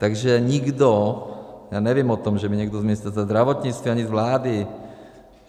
Takže nikdo, já nevím o tom, že by někdo z Ministerstva zdravotnictví ani z vlády.